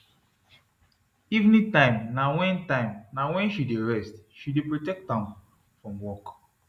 evening time na wen time na wen she d rest she dey protect am from work